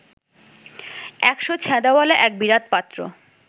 ১০০ ছেঁদাওয়ালা এক বিরাট পাত্র